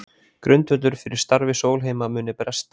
Grundvöllur fyrir starfi Sólheima muni bresta